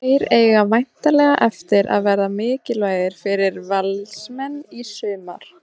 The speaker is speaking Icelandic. Þeir eiga væntanlega eftir að verða mikilvægir fyrir Valsmenn í sumar.